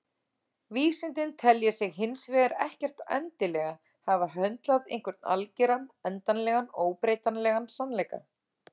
Vísindin telja sig hins vegar ekkert endilega hafa höndlað einhvern algeran, endanlegan og óbreytanlegan sannleika.